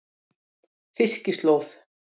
Fiskislóð